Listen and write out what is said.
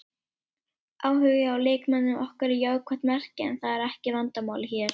Áhugi á leikmönnum okkar er jákvætt merki en það er ekki vandamálið hér.